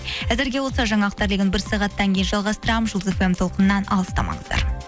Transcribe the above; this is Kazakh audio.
әзірге осы жаңалықтар легін бір сағаттан кейін жалғастырамын жұлдыз эф эм толқынынан алыстамаңыздар